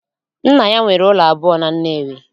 Nna ya nwere ụlọ abụọ na Nnewi